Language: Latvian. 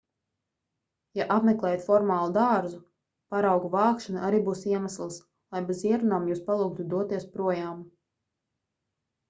ja apmeklējat formālu dārzu paraugu vākšana arī būs iemesls lai bez ierunām jūs palūgtu doties projām